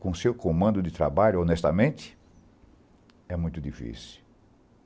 com seu comando de trabalho, honestamente? é muito difícil.